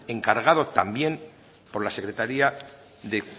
encargado también por la secretaría de